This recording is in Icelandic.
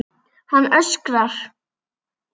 Hann öskrar.